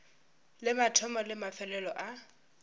le mathomo le mafelelo a